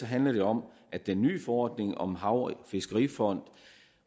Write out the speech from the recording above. handler det om at den nye forordning om hav og fiskerifonden